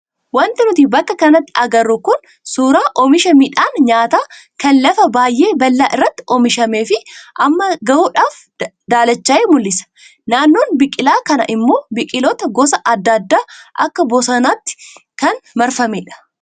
Wanti nuti bakka kanatti agarru kun suuraa oomisha midhaan nyaataa kan lafa baay'ee bal'aa irratti oomishamee fi amma gahuudhaaf daalachaaye mul'isa. Naannoon biqilaa kanaa immoo biqiloota gosa adda addaa akka bosonaatiin kan marfamedha.